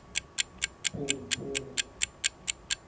o se ke wa pompa